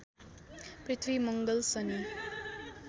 पृथ्वी मङ्गल शनि